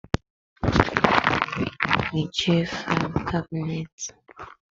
Mechie faịlụ kabinet.